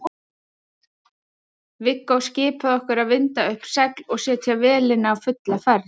Viggó skipaði okkur að vinda upp segl og setja vélina á fulla ferð.